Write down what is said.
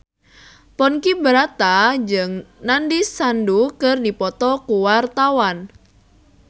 Ponky Brata jeung Nandish Sandhu keur dipoto ku wartawan